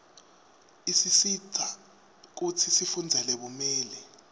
isisita kutsi sifundzele bumeli